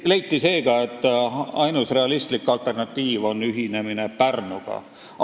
" Leiti seega, et ainus realistlik alternatiiv on ühinemine Pärnuga.